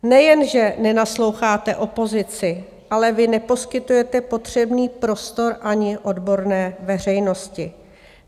Nejenže nenasloucháte opozici, ale vy neposkytujete potřebný prostor ani odborné veřejnosti.